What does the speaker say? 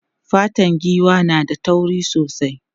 Fatan giwa na da tauri sosai.